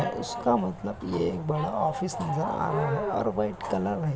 और उसका मतलब ये एक बड़ा ऑफिस नजर आ रहा है और वाइट कलर है |